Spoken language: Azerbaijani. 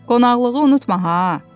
Qonaqlığı unutma ha.